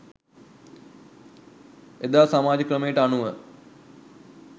එදා සමාජ ක්‍රමයට අනුව